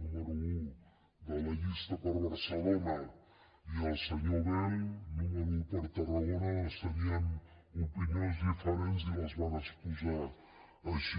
número un de la llista per barcelona i el senyor bel número un per tarragona tenien opinions diferents i les van exposar així